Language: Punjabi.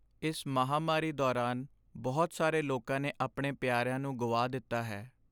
ਇਸ ਮਹਾਂਮਾਰੀ ਦੌਰਾਨ ਬਹੁਤ ਸਾਰੇ ਲੋਕਾਂ ਨੇ ਆਪਣੇ ਪਿਆਰਿਆ ਨੂੰ ਗੁਆ ਦਿੱਤਾ ਹੈ।